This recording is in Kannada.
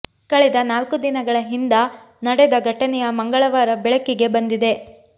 ಕಳೆದ ನಾಲ್ಕು ದಿನಗಳ ಹಿಂದ ನಡೆದ ಘಟನೆಯ ಮಂಗಳವಾರ ಬೆಳಕಿಗೆ ಬಂದಿದೆ